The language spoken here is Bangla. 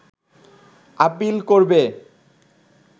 আপীল করবে